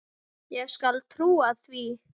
Ég skal trúa því.